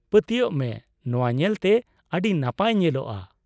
ᱯᱟᱹᱛᱭᱟᱹᱜ ᱢᱮ ᱱᱚᱶᱟ ᱧᱮᱞᱛᱮ ᱟᱹᱰᱤ ᱱᱟᱯᱟᱭ ᱧᱮᱞᱚᱜᱼᱟ ᱾